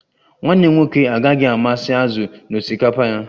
Nwanne m nwoke agaghị amasị azụ n'osikapa ya